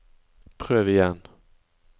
prøv igjen